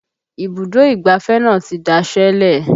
Ibùdó ìgbáfẹ́ náà ti daṣẹ́ lẹ̀